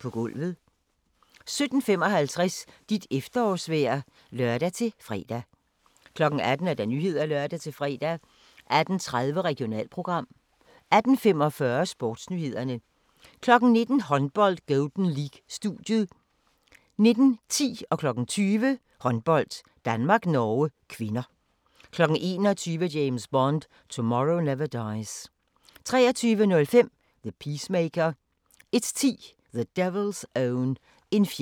17:55: Dit efterårsvejr (lør-fre) 18:00: Nyhederne (lør-fre) 18:30: Regionalprogram 18:45: SportsNyhederne 19:00: Håndbold: Golden League - studiet 19:10: Håndbold: Danmark-Norge (k) 20:00: Håndbold: Danmark-Norge (k) 21:00: James Bond: Tomorrow Never Dies 23:05: The Peacemaker 01:10: The Devil's Own - En fjende iblandt os